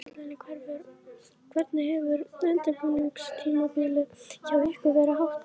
Á Ásvöllum Hvernig hefur undirbúningstímabilinu hjá ykkur verið háttað?